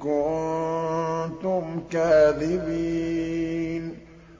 كُنتُمْ كَاذِبِينَ